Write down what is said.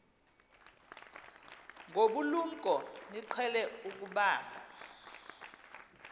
ngobulumko niqhel ukubamb